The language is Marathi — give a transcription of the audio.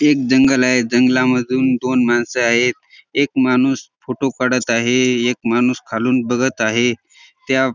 ते एक जंगल आहे जंगला मधून दोन माणसं आहेत एक माणूस फोटो काढत आहे एक माणूस खालून बघत आहे त्या --